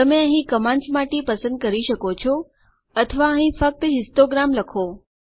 તમે અહીં કમાન્ડ્સ માંથી પસંદ કરી શકો છો અથવા અહીં ફક્ત હિસ્ટોગ્રામ લખો